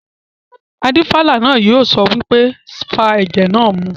Adífálà náà yóò sọ pé "fa ẹ̀jẹ̀ náà mu!"